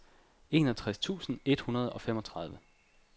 enogtres tusind et hundrede og femogtredive